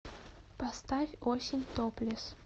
поставь осень топлес